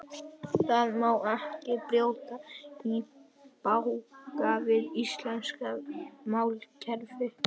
Það má ekki brjóta í bága við íslenskt málkerfi.